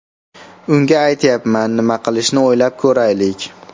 Unga aytyapman, nima qilishni o‘ylab ko‘raylik.